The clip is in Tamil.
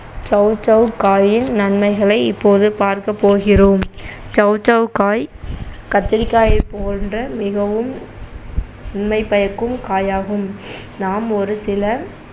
சௌசௌ காயின் நன்மைகளை இப்போது பார்க்கப்போகிறோம் சௌசௌ காய் கத்திரிக்காயை போன்ற மிகவும் நன்மை பயக்கும் காயாகும் நாம் ஒரு சில